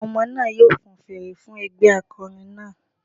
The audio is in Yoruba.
Àwọn ọmọ náà yóò fan fèrè fún ẹgbẹ́ akọrin náà